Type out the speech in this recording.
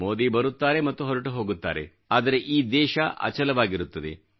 ಮೋದಿ ಬರುತ್ತಾರೆ ಮತ್ತು ಹೊರಟು ಹೋಗುತ್ತಾರೆ ಆದರೆ ಈ ದೇಶ ಅಚಲವಾಗಿರುತ್ತದೆ